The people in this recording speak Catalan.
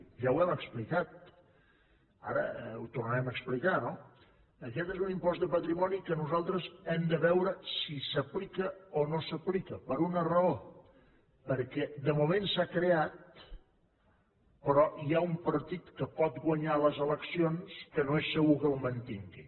ja ho hem explicat ara ho tornarem a explicar no aquest és un impost de patrimoni que nosaltres hem de veure si s’aplica o no s’aplica per una raó perquè de moment s’ha creat però hi ha un partit que pot guanyar les eleccions que no és segur que el mantingui